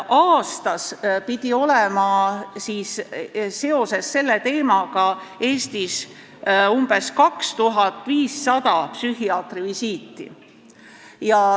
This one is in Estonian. Aastas pidi olema seoses selle teemaga Eestis umbes 2500 psühhiaatrivisiiti.